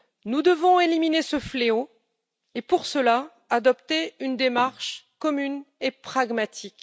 Nous devons éliminer ce fléau et, pour cela, adopter une démarche commune et pragmatique.